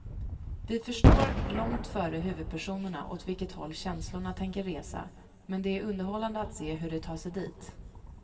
Vi förstår långt före huvudpersonerna åt vilket håll känslorna tänker resa, men det är underhållande att se hur de tar sig dit.